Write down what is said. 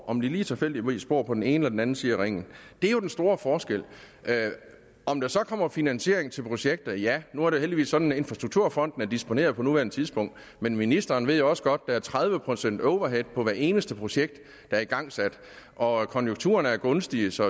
om de tilfældigvis bor på den ene eller den anden side af ringen det er jo den store forskel om der så kommer finansiering til projekter ja nu er det heldigvis sådan at infrastrukturfonden er disponeret på nuværende tidspunkt men ministeren ved jo også godt er tredive procent overhead på hvert eneste projekt der er igangsat og konjunkturerne er gunstige så